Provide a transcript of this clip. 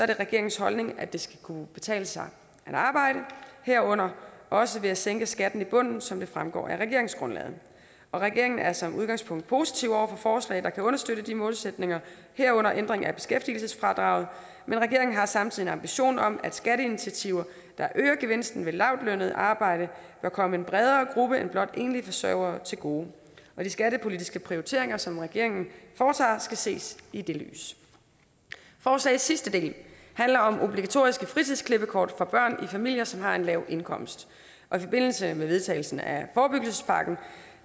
det regeringens holdning at det skal kunne betale sig at arbejde herunder også ved at vi sænker skatten i bunden som det fremgår af regeringsgrundlaget regeringen er som udgangspunkt positive over for forslag der kan understøtte de målsætninger herunder ændring af beskæftigelsesfradraget men regeringen har samtidig en ambition om at skatteinitiativer der øger gevinsten ved lavtlønnet arbejde bør komme en bredere gruppe end blot enlige forsørgere til gode de skattepolitiske prioriteringer som regeringen foretager skal ses i det lys forslagets sidste del handler om obligatoriske fritidsklippekort for børnefamilier som har en lav indkomst i forbindelse med vedtagelsen af forebyggelsespakken